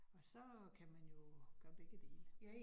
Og så kan man jo gøre begge dele